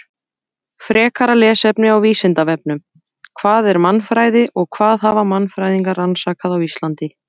Frekara lesefni á Vísindavefnum: Hvað er mannfræði og hvað hafa mannfræðingar rannsakað á Íslandi?